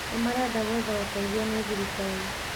Nĩmarenda gwetha ũteithio nĩ thirikari